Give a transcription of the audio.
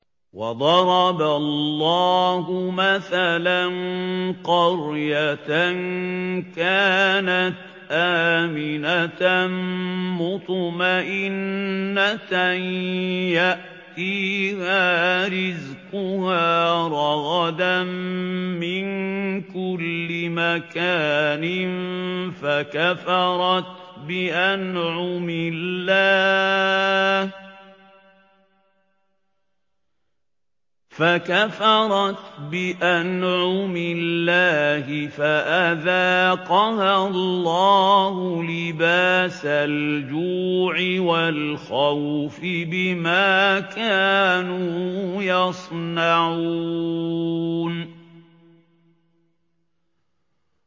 وَضَرَبَ اللَّهُ مَثَلًا قَرْيَةً كَانَتْ آمِنَةً مُّطْمَئِنَّةً يَأْتِيهَا رِزْقُهَا رَغَدًا مِّن كُلِّ مَكَانٍ فَكَفَرَتْ بِأَنْعُمِ اللَّهِ فَأَذَاقَهَا اللَّهُ لِبَاسَ الْجُوعِ وَالْخَوْفِ بِمَا كَانُوا يَصْنَعُونَ